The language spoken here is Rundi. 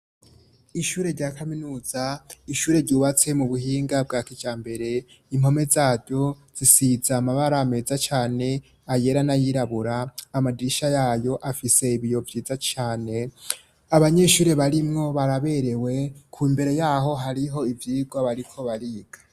Ishure rya kaminuza ishure ryubatse mu buhinga bwa kija mbere inkome zaryo zisiza amabara ameza cane ayera nayirabura amadisha yayo afise ibiyo vyiza cane abanyeshuri barimwo baraberewe ku mbere yaho hariho ivyirwa bariko bariga.